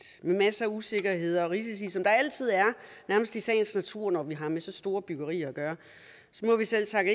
med masser af usikkerheder og risici som der altid er nærmest i sagens natur når vi har med så store byggerier at gøre så må vi selvsagt